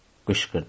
qışqırdım.